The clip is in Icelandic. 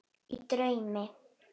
Í draumi